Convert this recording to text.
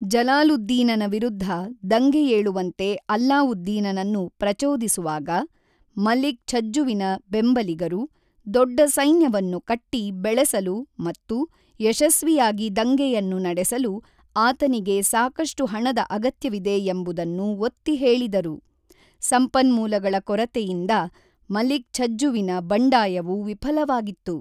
ಜಲಾಲುದ್ದೀನನ ವಿರುದ್ಧ ದಂಗೆಯೇಳುವಂತೆ ಅಲ್ಲಾವುದ್ದೀನನನ್ನು ಪ್ರಚೋದಿಸುವಾಗ, ಮಲಿಕ್ ಛಜ್ಜುವಿನ ಬೆಂಬಲಿಗರು, ದೊಡ್ಡ ಸೈನ್ಯವನ್ನು ಕಟ್ಟಿ ಬೆಳೆಸಲು ಮತ್ತು ಯಶಸ್ವಿಯಾಗಿ ದಂಗೆಯನ್ನು ನಡೆಸಲು ಆತನಿಗೆ ಸಾಕಷ್ಟು ಹಣದ ಅಗತ್ಯವಿದೆ ಎಂಬುದನ್ನು ಒತ್ತಿಹೇಳಿದರು: ಸಂಪನ್ಮೂಲಗಳ ಕೊರತೆಯಿಂದ ಮಲಿಕ್ ಛಜ್ಜುವಿನ ಬಂಡಾಯವು ವಿಫಲವಾಗಿತ್ತು.